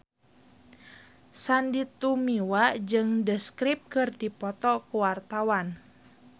Sandy Tumiwa jeung The Script keur dipoto ku wartawan